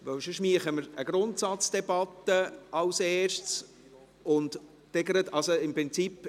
Sonst würden wir als Erstes eine Grundsatzdebatte führen, und im Prinzip …